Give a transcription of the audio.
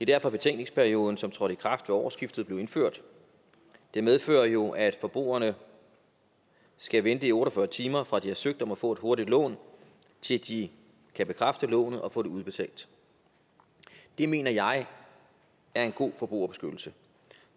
derfor at betænkningsperioden som trådte i kraft ved årsskiftet blev indført det medfører jo at forbrugerne skal vente i otte og fyrre timer fra de har søgt om at få et hurtigt lån til de kan bekræfte lånet og få det udbetalt det mener jeg er en god forbrugerbeskyttelse